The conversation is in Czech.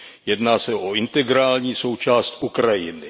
Jedná se o integrální součást Ukrajiny.